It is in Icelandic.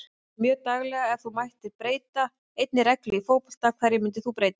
Já mjög daglega Ef þú mættir breyta einni reglu í fótbolta, hverju myndir þú breyta?